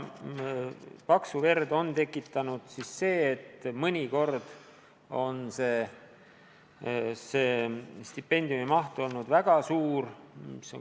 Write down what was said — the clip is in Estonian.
Paksu verd on tekitanud see, et mõnikord on stipendiumi maht olnud väga suur.